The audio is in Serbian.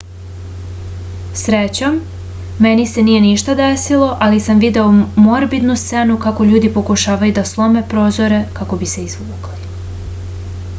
srećom meni se nije ništa desilo ali sam video morbidnu scenu kako ljudi pokušavaju da slome prozore kako bi se izvukli